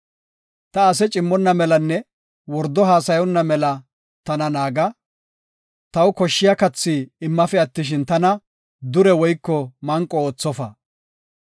Ta ase cimmonna melanne wordo haasayonna mela tana naaga; taw koshshiya kathi immafe attishin, tana dure woyko manqo oothofa.